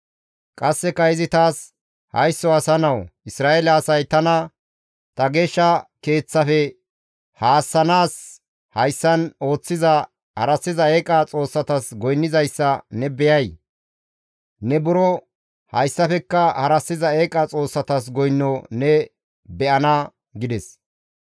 Qasseka izi taas, «Haysso asa nawu! Isra7eele asay tana ta geeshsha keeththafe haassanaas hayssan ooththiza harassiza eeqa xoossatas goynnizayssa ne be7ay? Ne buro hayssafekka harassiza eeqa xoossatas goyno ne be7ana» gides.